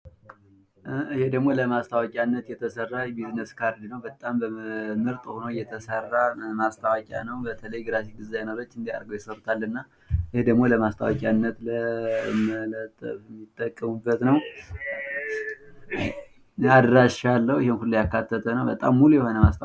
ይህ ደግሞ ለማስታወቂያነት የተሰራ የቢዝነስ ካርድ ነው። በተለይ ግራፊክስ ዲዛይነሮች እንደዚህ አድርገው ይሰሩታል። በጣም ሃሪፍ ሆኖ የተሰራ ነው።